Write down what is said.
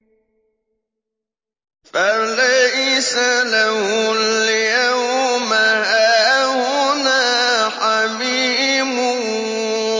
فَلَيْسَ لَهُ الْيَوْمَ هَاهُنَا حَمِيمٌ